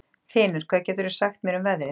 Þinur, hvað geturðu sagt mér um veðrið?